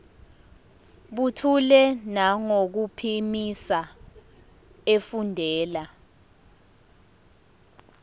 buthule nangokuphimisa efundela